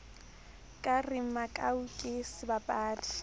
ka re makau ke sebapadi